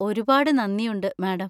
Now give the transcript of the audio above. ഒരുപാട് നന്ദിയുണ്ട്, മാഡം.